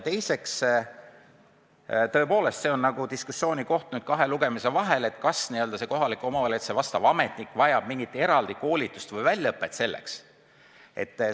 Tõepoolest, see on diskussiooniteema kahe lugemise vahel, kas kohaliku omavalitsuse vastav ametnik vajab mingit eraldi koolitust või väljaõpet selleks tööks.